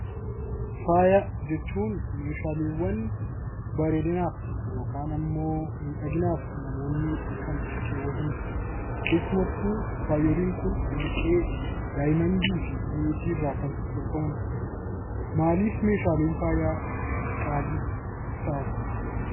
Faaya jechuun meeshaaleewwan bareedinaaf (miidhaginaaf) namoonni kan keewwatani dha. Keessumattuu faayoliin kun warqee, daayimandii fi meetii irraa kan tolfamani dha. Maaliif meeshaaleen faayaa qaalii ta'an?